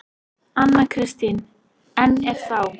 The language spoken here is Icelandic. Anna Kristín: En er þá.